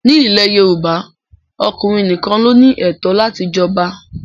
Ní ilẹ̀ Yorùbá, ọkùnrin nìkan ló ní ẹ̀tọ́ láti jọba